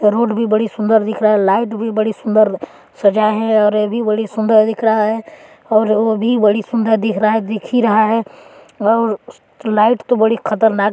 और रोड भी बड़ी सुंदर दिख रहा है लाइट भी बड़ी सुंदर सजाए हैऔर ए भी बड़ी सुंदर दिख रहा है और ओ-भी बड़ी सुंदर दिख रहा है दिखी रहा है और लाइट तो बड़ी खतरनाक--